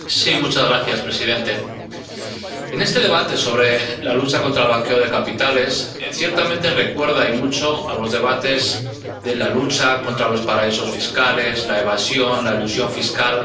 Señor presidente, este debate sobre la lucha contra el blanqueo de capitales ciertamente recuerda —y mucho— a los debates de la lucha contra los paraísos fiscales, la evasión, la elusión fiscal...,